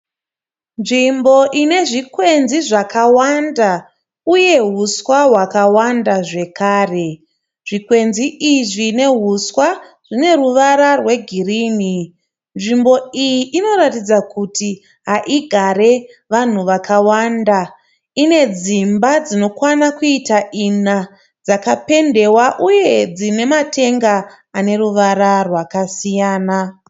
Nzimbo inezvikwenzi zvakawanda uye huswa hwakawanda zvekare zvikwenzi izvi nehuswa zvine ruvara rwegirini nzimbo iyi inoratidza kuti haigare vanhu vakavanda ine dzimba dzinokwana kuita ina dzakapendiwa uye dzine matenga aneruvara rwakasiyana